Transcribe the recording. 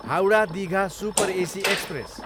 Howrah, Digha super AC express